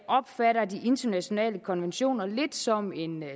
opfatter de internationale konventioner lidt som en